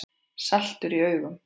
Saltur í augum.